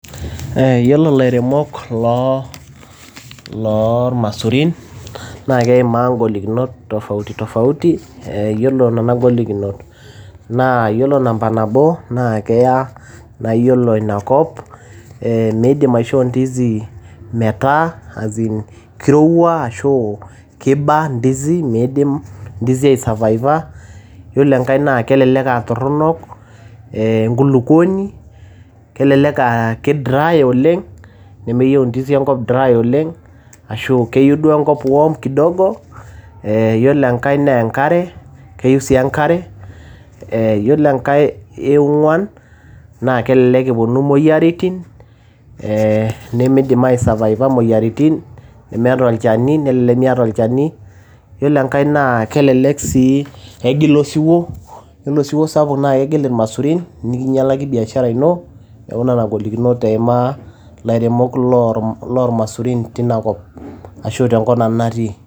Yiolo ilairemok loo loo imaisurin naa keimaa ng`olikinot tofauti tofauti. Yiolo nena ng`olikinot. Naa yiolo namba nabo naa keya na iyiolo ina kop eeh meidim aishoo ndizi metaa as in kirowua ashu kiba ndizi midim ndizi ai survive aa yiolo enkae naa kelelek aa torrono enkulukuoni kelelek aa ki dry oleng nemeyieu ndizi enkop naa dry oleng ashu keyieu duo enkop naa ki warm kidogo. Yiolo enkae naa enkare, keyieu sii enkare yiolo enkae naa e ong`uan naa kelelek eponu imoyiaritin ee nemeidim ai survive aa imoyiaritin nemeeta olchani nelelek miata olchani. Ore enkae naa kelelek sii egil osiwuo yiolo osiwuo sapuk naa kegil ilmaisurin nikinyalaki biashara ino. Niaku nena ng`olikinot eimaa lairemok loo loo ilmaisurin teina kop ashu te nkop nanu natii.